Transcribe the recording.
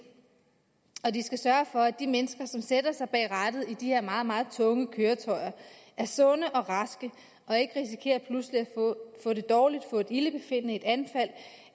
og de skal sørge for at de mennesker som sætter sig bag rattet i de her meget meget tunge køretøjer er sunde og raske og ikke risikerer pludselig at få det dårligt få et ildebefindende et anfald